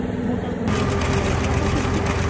ମୁଣ୍ଡ କୁଣ୍ଡେଇ ଦଉଥିଲେ ସବୁକିଛି